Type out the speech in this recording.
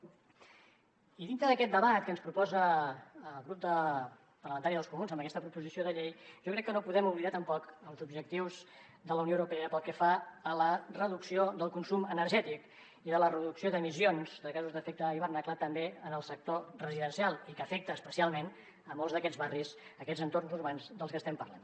i dintre d’aquest debat que ens proposa el grup parlamentari dels comuns amb aquesta proposició de llei jo crec que no podem oblidar tampoc els objectius de la unió europea pel que fa a la reducció del consum energètic i a la reducció d’emissions de gasos amb efecte d’hivernacle també en el sector residencial i que afecta especialment molts d’aquests barris aquests entorns urbans dels que estem parlant